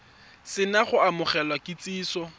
se na go amogela kitsiso